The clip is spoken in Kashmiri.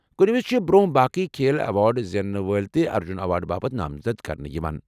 كُنہِ وِزِ چھِ برونہہ باقی كھیل ایوارڈ زینن وٲلۍ تہِ ارجُن ایوارڈ باپت نامزد كرنہٕ یوان۔